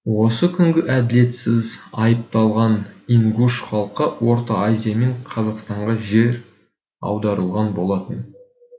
осы күні әділетсіз айыпталған ингуш халқы орта азия мен қазақстанға жер аударылған болатын